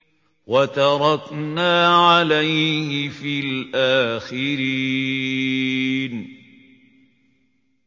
وَتَرَكْنَا عَلَيْهِ فِي الْآخِرِينَ